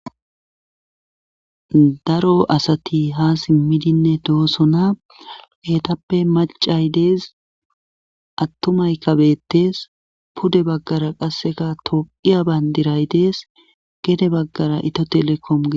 Daro asati ha simmidinne doosona hetappe macay dees attumay kabettes pude baggara qasseka toqiya bayndiray dees gede baggara ito telekome.